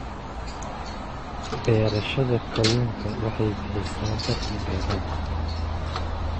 Beerashada kalluunka waxay bixisaa dakhli dheeraad ah.